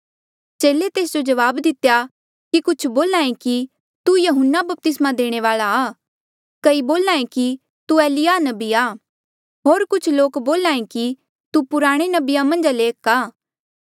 चेले तेस जो जवाब दितेया कि कुछ बोल्हा ऐें कि तू यहून्ना बपतिस्मा देणे वाल्आ आ कई बोल्हा ऐें कि तू एलिय्याह नबी आ होर कुछ लोक बोल्हा ऐें कि तू पुराणे नबिया मन्झा ले कोई एक आ